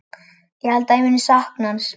Ég held að ég muni sakna hans.